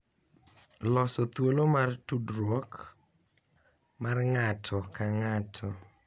Loso thuolo mar tudruok mar ng’ato ka ng’ato